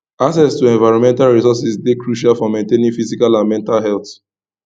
access to environmental resourses dey crucial for maintaining physical and mental health